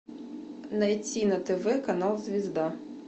найти на тв канал звезда